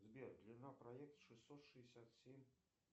сбер длина проекта шестьсот шестьдесят семь